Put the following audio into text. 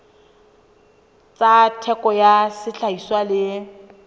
tsa theko ya sehlahiswa le